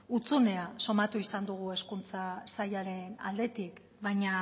hutsunea somatu izan dugu hezkuntza sailaren aldetik baina